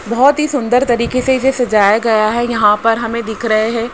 बहोत ही सुंदर तरीके से इसे सजाया गया है। यहां पर हमें दिख रहे हैं।